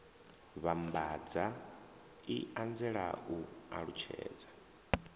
vhambadza i anzela u alutshedza